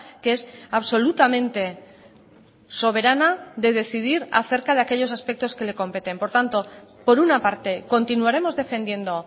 que es absolutamente soberana de decidir acerca de aquellos aspectos que le competen por tanto por una parte continuaremos defendiendo